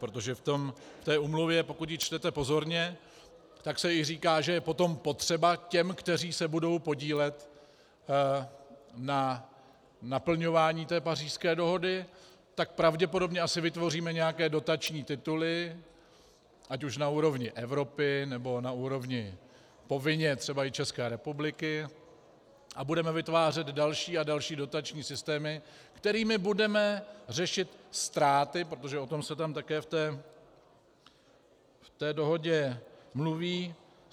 Protože v té úmluvě, pokud ji čtete pozorně, tak se i říká, že je potom potřeba těm, kteří se budou podílet na naplňování té Pařížské dohody, tak pravděpodobně asi vytvoříme nějaké dotační tituly ať už na úrovni Evropy, nebo na úrovni povinně třeba i České republiky, a budeme vytvářet další a další dotační systémy, kterými budeme řešit ztráty, protože o tom se tam také v té dohodě mluví.